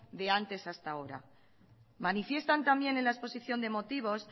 de antes hasta ahora manifiestan también en la exposición de motivos